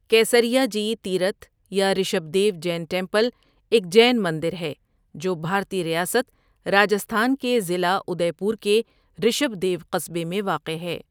کیسریاجی تیرتھ یا رشبھدیو جین ٹیمپل ایک جین مندر ہے جو بھارتی ریاست راجستھان کے ضلع ادے پور کے رشبھدیو قصبے میں واقع ہے۔